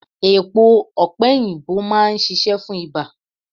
Èpo opeyinbo máa ń ṣíṣe fún ibà.